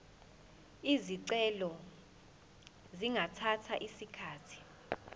izicelo zingathatha isikhathi